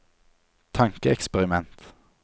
tankeeksperiment